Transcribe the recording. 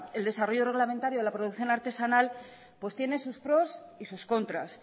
el desarrollo reglamentario de la producción artesanal pues tiene sus pro y sus contras